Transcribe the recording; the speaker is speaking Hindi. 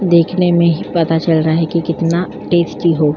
दिखने में ही पता चल रहा है कि कितना टेस्टी हो --